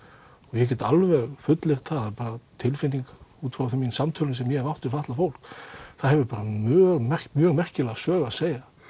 ég get alveg fullyrt það tilfinning út frá samtölum sem ég hef átt við fatlað fólk það hefur mjög mjög merkilega sögu að segja